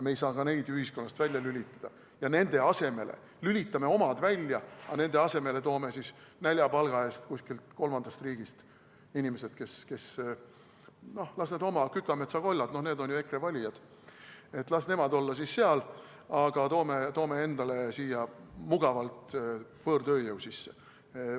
Me ei saa ka neid ühiskonnast välja lülitada, ikka nii, et lülitame omad välja, aga nende asemele toome näljapalga eest kuskilt kolmandast riigist inimesed, et noh, need oma Kükametsa-Kollad, need on ju EKRE valijad, las nemad olla siis seal, aga toome endale siia mugavalt võõrtööjõu sisse.